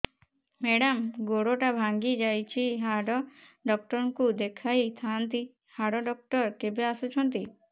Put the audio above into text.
madam ଗୋଡ ଟା ଭାଙ୍ଗି ଯାଇଛି ହାଡ ଡକ୍ଟର ଙ୍କୁ ଦେଖାଇ ଥାଆନ୍ତି ହାଡ ଡକ୍ଟର କେବେ ଆସୁଛନ୍ତି